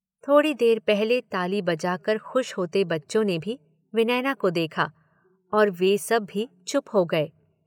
थोड़ी देर पहले ताली बजाकर खुश होते बच्चों ने भी विनयना को देखा और वे सब भी चुप हो गये।